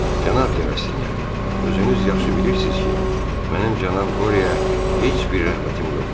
Cənab de Rastinyak, özünüz yaxşı bilirsiz ki, mənim cənab Qorya heç bir rəğbətim yoxdur.